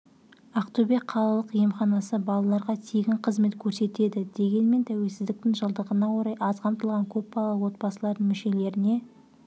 ақтөбе қалалық емханасы балаларға тегін қызмет көрсетеді дегенмен тәуелсіздіктің жылдығына орай аз қамтылған көпбалалы отбасылардың мүшелеріне